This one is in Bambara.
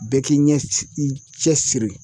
Bɛɛ k'i ɲɛ i cɛsiri